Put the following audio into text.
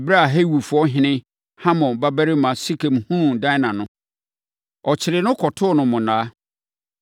Ɛberɛ a Hewifoɔhene Hamor babarima Sekem hunuu Dina no, ɔkyeree no kɔtoo no monnaa.